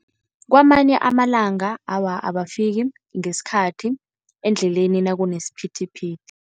Kwamanye amalanga awa, abafiki ngesikhathi endleleni nakunesiphithiphithi.